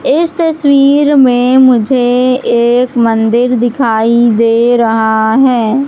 इस तस्वीर में मुझे एक मंदिर दिखाई दे रहा है।